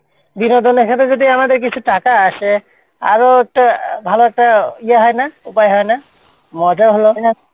বিনোদনে এখানে যদি আমাদের কিছু টাকা আসে? আরও একটা ভালো একটা ইয়ে হয় না, উপায় হয় না? মজা হল।